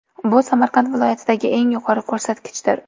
Bu Samarqand viloyatidagi eng yuqori ko‘rsatkichdir.